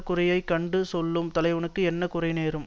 குறையைக் கண்டு சொல்லும் தலைவனுக்கு என்ன குறை நேரும்